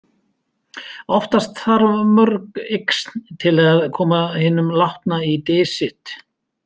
Oftast þarf mörg yxn til að koma hinum látna í dys sitt.